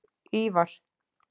Ívar